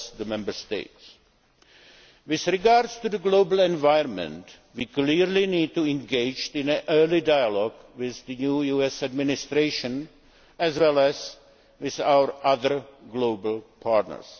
Member States. With regard to the global environment, we clearly need to engage in an early dialogue with the new US Administration as well as with our other global partners.